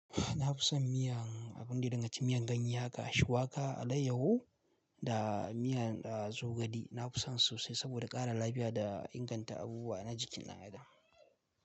Na fi son miyan abun da dinga ci miyan ganye haka, shuwaka alaiyahu da miyan zogale. Na fi son su sai saboda ƙara lafiya da inganta abubuwa na jikin na a da.